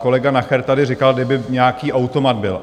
Kolega Nacher tady říkal, kdyby nějaký automat byl.